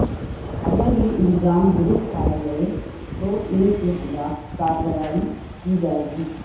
اگر یہ الزام درست پائے گئے تو ان کے خلاف کارروائی کی جائے گی